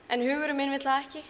en hugurinn minn vill það ekki